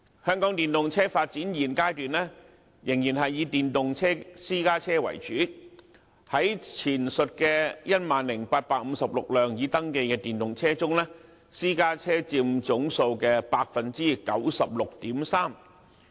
香港電動車發展現階段仍然是以電動私家車為主，在前述的 10,856 輛已登記的電動車中，私家車佔總數的 96.3%。